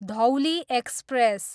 Dhauli express